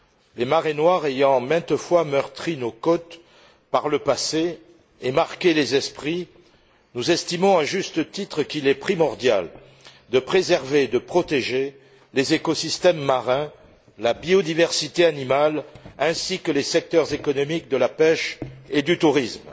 Les marées noires ayant, maintes fois par le passé, meurtri nos côtes et marqué les esprits, nous estimons à juste titre qu'il est primordial de préserver et de protéger les écosystèmes marins, la biodiversité animale ainsi que les secteurs économiques de la pêche et du tourisme.